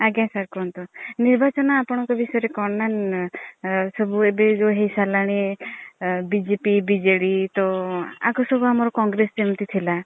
ଆଜ୍ଞା sir କୁହନ୍ତୁ। ନିର୍ବାଚନ ଆପଣଙ୍କ ବିସୟରେ କଣ ନା ନ୍ ନ୍। ଆଁ ସନୁ ଏବେ ଯୋଉ ହେଇ ସାରିଲାଣି BJP BJD ତ ଆଗରୁ ସବୁ ଆମର congress ଯେମିତି ଥିଲା